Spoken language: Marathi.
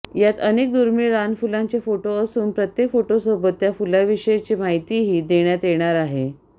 यात अनेक दुर्मिळ रानफुलांचे फोटो असून प्रत्येक फोटोसोबत त्या फुलाविषयीची माहितीही देण्यात येणार आहे